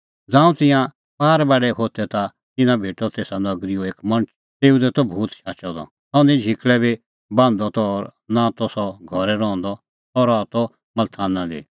ज़ांऊं तिंयां पार बाढै होथै ता तिन्नां भेटअ तेसा नगरीओ एक मणछ तेऊ दी त भूत शाचअ द और सह निं झिकल़ै बी बान्हदअ त और नां ता सह घरै रहंदअ त सह रहा त मल्थाना दी